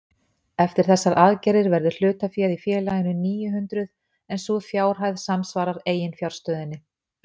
Eftir þessar aðgerðir verður hlutaféð í félaginu níu hundruð en sú fjárhæð samsvarar eiginfjárstöðunni.